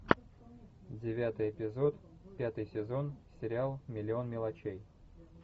девятый эпизод пятый сезон сериал миллион мелочей